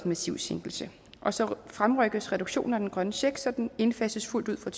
massiv sænkelse og så fremrykkes reduktionen af den grønne check så den indfases fuldt ud fra